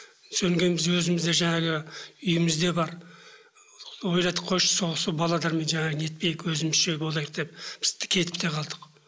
содан кейін біз өзіміз де жаңағы үйіміз де бар қойшы сол балалармен жаңағы не етпейік өзімізше болайық деп біз кетіп те қалдық